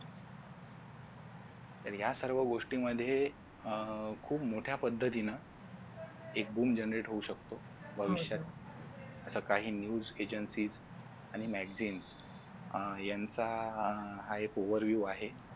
तर या सर्व गोष्टींमध्ये खूप मोठ्या पद्धतीनं एक boom generate होऊ शकतो भविष्यात तर काही news agencies आणि magazines यांचा हा एक overview आहे.